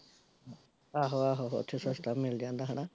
ਆਹੋ ਆਹੋ ਓਥੇ ਸਸਤਾ ਮਿਲ ਜਾਂਦਾ ਹੈਨਾ